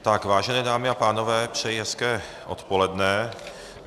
Vážené dámy a pánové, přeji hezké odpoledne.